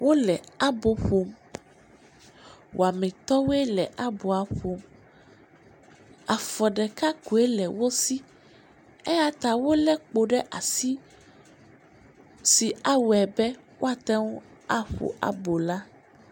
Wole abo ƒom, wɔametɔwoe le aboa ƒom. Afɔ ɖeka koe le wosi eyata wole kpo ɖe asi si awɔe be woateŋu aƒo abo la.